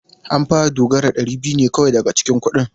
An ba Dogara dari biyu ne kawai daga cikin kudin.